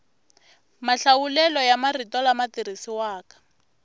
mahlawulelo ya marito lama tirhisiwaka